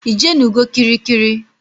Ijenugo kirikiri?